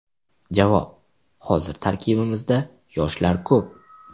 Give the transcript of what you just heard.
Javob: Hozir tarkibimizda yoshlar ko‘p.